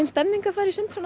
stemning að fara í sund svona á